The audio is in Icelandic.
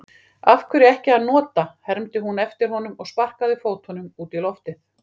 Af hverju ekki að nota, hermdi hún eftir honum og sparkaði fótunum út í loftið.